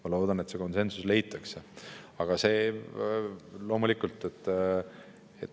Ma loodan, et see konsensus leitakse.